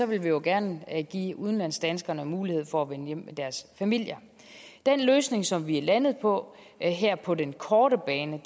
vil vi jo gerne give udenlandsdanskerne mulighed for at vende hjem med deres familier den løsning som vi er landet på her på den korte bane